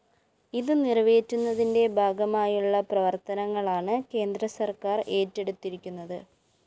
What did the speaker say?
ഇത് നിറവേറ്റുന്നതിന്റെ ഭാഗമായുള്ള പ്രവര്‍ത്തനങ്ങളാണ് കേന്ദ്രസര്‍ക്കാര്‍ ഏറ്റെടുത്തിരിക്കുന്നത്